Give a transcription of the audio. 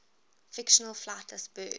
fictional flightless birds